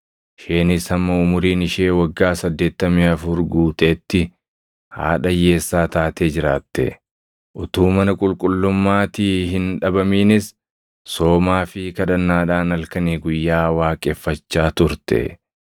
isheenis hamma umuriin ishee waggaa 84 guuteetti haadha hiyyeessaa taatee jiraatte. Utuu mana qulqullummaatii hin dhabaminis soomaa fi kadhannaadhaan halkanii guyyaa waaqeffachaa turte.